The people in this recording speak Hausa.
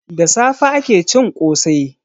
Da safe ake cin kose.